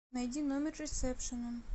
найди номер ресепшена